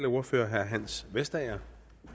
ordfører herre hans vestager